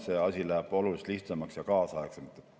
See asi läheb oluliselt lihtsamaks ja kaasaegsemaks.